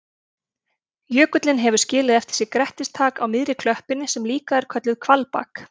Jökullinn hefur skilið eftir sig grettistak á miðri klöppinni sem er líka kölluð hvalbak.